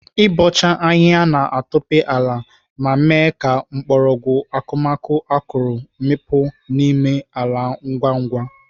Ịbọcha ahịhịa na-atope ala ma mee ka mgbọrọgwụ akụmakụ akọrọ mikpuo n'ime ala ngwa ngwa.